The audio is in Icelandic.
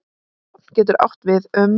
Stofn getur átt við um